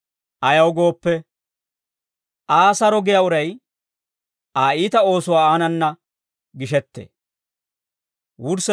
Ayaw gooppe, Aa saro giyaa uray Aa iita oosuwaa aanana gishettee.